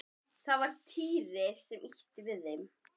Það var Týri sem ýtti við þeim.